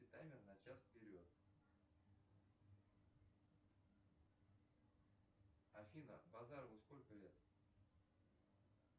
таймер на час вперед афина базарову сколько лет